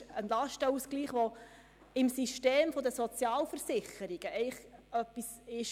Es handelt sich um einen Lastenausgleich, welcher im System der Sozialversicherungen üblich ist.